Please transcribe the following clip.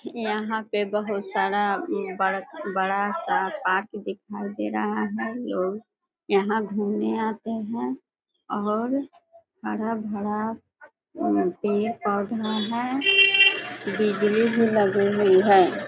यहां पर बहोत सारा बड़ा बड़ा सा पार्क दिखाई दे रहा है लोग यहां घूमने आते है और हरा भरा पेड़ पौधा है बिजली भी लगी हुई है |